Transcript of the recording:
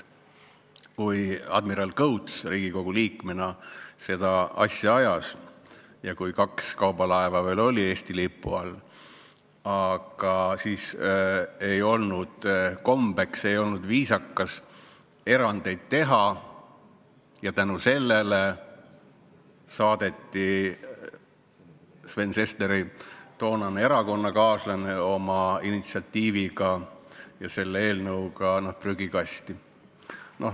Kui admiral Kõuts Riigikogu liikmena seda asja ajas ja kui kaks kaubalaeva veel oli Eesti lipu all, siis ei olnud kombeks, ei olnud viisakas erandeid teha ja tänu sellele saadeti Sven Sesteri toonase erakonnakaaslase initsiatiiv ja eelnõu prügikasti.